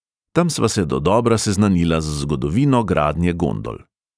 Tam sva se dodobra seznanila z zgodovino gradnje gondol.